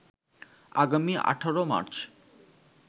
আগামী ১৮ মার্চ